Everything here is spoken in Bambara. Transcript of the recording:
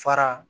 Fara